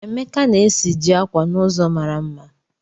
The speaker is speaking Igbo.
Emeka na-esiji akwa n'ụzọ mara mma